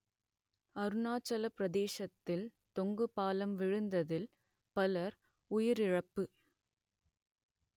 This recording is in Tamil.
அருணாச்சலப் பிரதேஷத்தில் தொங்கு பாலம் விழுந்ததில் பலர் உயிரிழப்பு